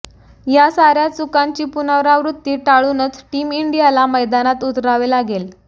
या सार्या चुकांची पुनरावृत्ती टाळूनच टीम इंडियाला मैदानात उतरावे लागेल